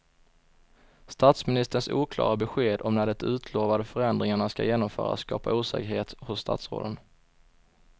Statsministerns oklara besked om när de utlovade förändringarna ska genomföras skapar osäkerhet hos statsråden.